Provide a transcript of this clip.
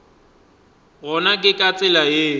gona ke ka tsela yeo